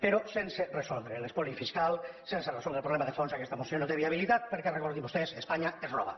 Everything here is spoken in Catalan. però sense resoldre l’espoli fiscal sense resoldre el problema de fons aquesta moció no té viabilitat per·què recordin·ho vostès espanya ens roba